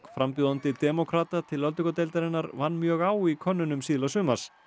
frambjóðandi demókrata til öldungadeildarinnar vann mjög á í könnunum síðla sumars